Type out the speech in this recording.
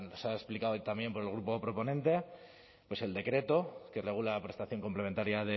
se ha explicado también por el grupo proponente pues el decreto que regula la prestación complementaria